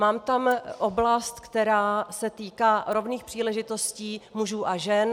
Mám tam oblast, která se týká rovných příležitostí mužů a žen.